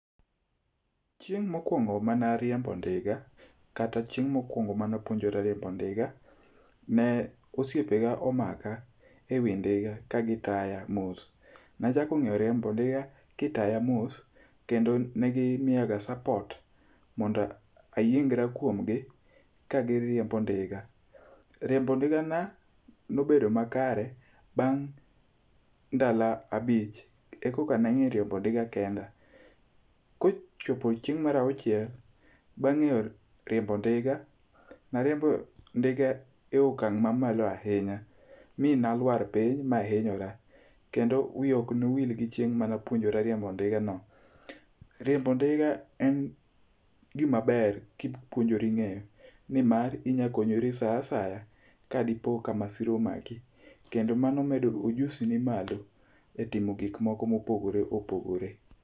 Chieng' mokwongo manariembo ndiga, kata chieng' mokwongo manapuonjora riembo ndiga, ne osiepega omaka e wi ndiga kagitaya mos. Nachako ng'eyo riembo ndiga kitaya mos kendo ne gimiyaga support mondo ayiengra kuomgi kagiriembo ndiga. Riembo ndigana nobedo makare bang' ndalo abich e koka nang'eyo riembo ndiga kenda. Kochopo chieng' mar auchiel, bang' ng'eyo riembo ndiga nariembo ndiga e okang' mamalo ahinya mi nalwar piny mahinyora kendo wiya oknowil gi chieng' manapuonjora riembo ndigano. Riembo ndiga en gimaber kipuonjori ng'eyo nimar, inyakonyori sa asaya kadipoka masira omaki, kendo mano medo ojusini malo e timo gikmoko mopogore opogore.